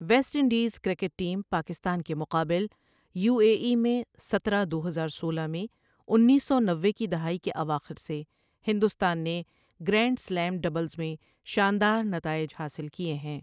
Waste Indies cricket team Pakistan کے مقابل، U A E میں سترہ دو ہزار سولہ میں انیس سو نوے کی دہائی کے اواخر سے ہندوستان نے گرینڈ سلیم ڈبلز میں شاندار نتائج حاصل کیے ہیں۔